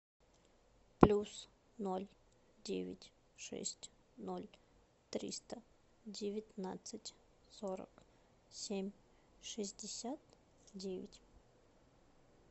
плюс ноль девять шесть ноль триста девятнадцать сорок семь шестьдесят девять